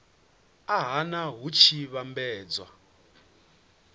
a nha hu tshi vhambedzwa